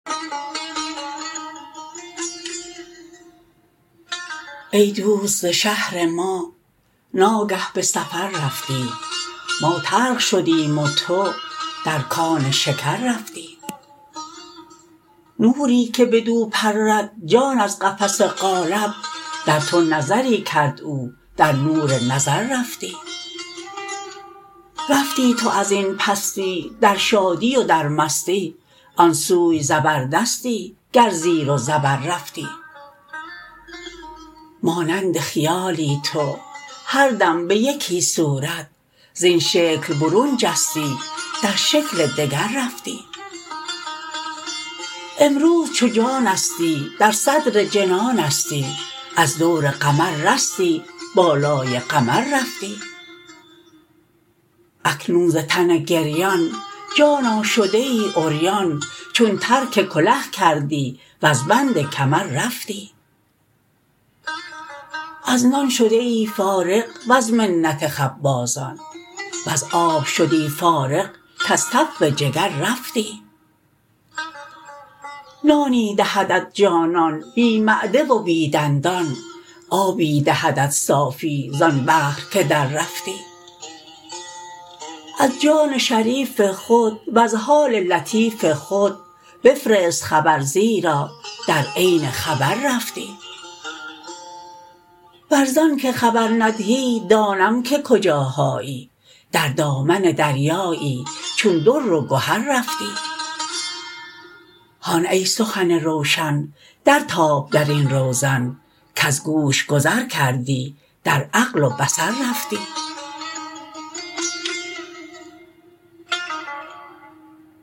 ای دوست ز شهر ما ناگه به سفر رفتی ما تلخ شدیم و تو در کان شکر رفتی نوری که بدو پرد جان از قفس قالب در تو نظری کرد او در نور نظر رفتی رفتی تو از این پستی در شادی و در مستی آن سوی زبردستی گر زیر و زبر رفتی مانند خیالی تو هر دم به یکی صورت زین شکل برون جستی در شکل دگر رفتی امروز چو جانستی در صدر جنانستی از دور قمر رستی بالای قمر رفتی اکنون ز تن گریان جانا شده ای عریان چون ترک کله کردی وز بند کمر رفتی از نان شده ای فارغ وز منت خبازان وز آب شدی فارغ کز تف جگر رفتی نانی دهدت جانان بی معده و بی دندان آبی دهدت صافی زان بحر که دررفتی از جان شریف خود وز حال لطیف خود بفرست خبر زیرا در عین خبر رفتی ور ز آنک خبر ندهی دانم که کجاهایی در دامن دریایی چون در و گهر رفتی هان ای سخن روشن درتاب در این روزن کز گوش گذر کردی در عقل و بصر رفتی